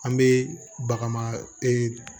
An bɛ baga ee